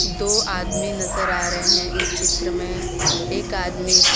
दो आदमी नजर आ रहे हैं इस चित्र में एक आदमी--